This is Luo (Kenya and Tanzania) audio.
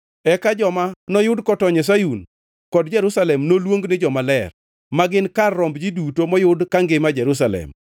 Eka joma noyud kotony e Sayun kod Jerusalem noluong ni jomaler, ma gin kar romb ji duto moyud kangima e Jerusalem